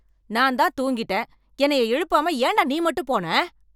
நான் தான் தூங்கிட்டேன், என்னைய எழுப்பாம ஏண்டா நீ மட்டும் போன?